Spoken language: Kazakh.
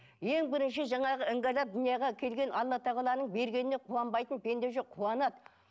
ең бірінші жаңағы іңгәлап дүниеге келген алла тағаланың бергеніне қуанбайтын пенде жоқ қуанады